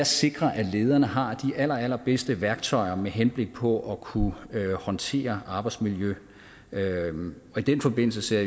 sikrer at lederne har de allerallerbedste værktøjer med henblik på at kunne håndtere arbejdsmiljø i den forbindelse ser